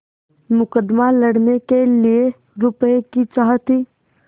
मुकदमा लड़ने के लिए रुपये की चाह थी